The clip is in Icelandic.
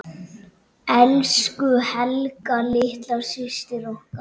Elsku Helga litla systir okkar.